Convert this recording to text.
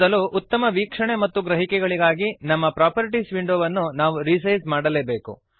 ಮೊದಲು ಉತ್ತಮ ವೀಕ್ಷಣೆ ಮತ್ತು ಗ್ರಹಿಕೆಗಳಿಗಾಗಿ ನಮ್ಮ ಪ್ರಾಪರ್ಟೀಸ್ ವಿಂಡೋವನ್ನು ನಾವು ರಿಸೈಜ್ ಮಾಡಲೇಬೇಕು